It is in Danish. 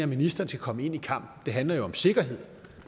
ministeren skal komme ind i kampen det handler jo om sikkerhed